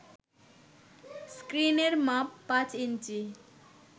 স্ক্রিনের মাপ পাঁচ ইঞ্চি